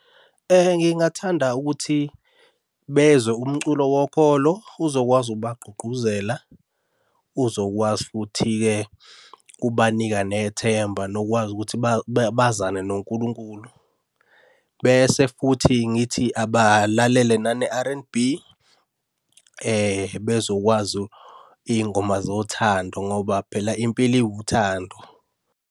Ngingathanda ukuthi bezwe umculo wokholo, uzokwazi ukubagqugquzela, uzokwazi futhi-ke ukubanika nethemba nokwazi ukuthi bazane noNkulunkulu. Bese futhi ngithi abalalele nane R_N_B, bezokwazi iy'ngoma zothando ngoba phela impilo iwuthando.